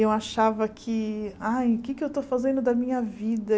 Eu achava que, ai, o que é que eu estou fazendo da minha vida?